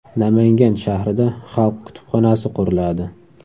Namangan shahrida xalq kutubxonasi quriladi .